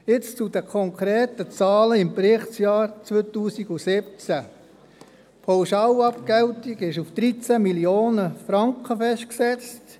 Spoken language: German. Jetzt zu den konkreten Zahlen des Berichtsjahr 2017: Die Pauschalabgeltung war auf 13 Mio. Franken festgesetzt.